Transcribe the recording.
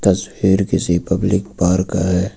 तस्वीर किसी public park का है।